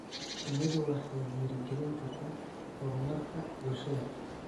Shinnidu waxay dhiirigelin kartaa horumarka bulshada.